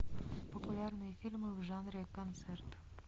популярные фильмы в жанре концерт